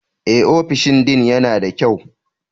Eh, ofishin Dean yana da kyau.